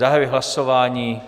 Zahajuji hlasování.